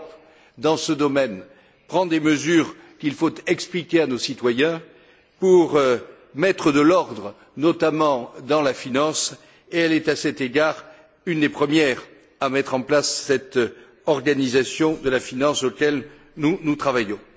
Mais l'Europe, dans ce domaine, prend des mesures, qu'il faut expliquer à nos citoyens, pour mettre de l'ordre notamment dans la finance et elle est, à cet égard, une des premières à mettre en place cette organisation de la finance à laquelle nous travaillons.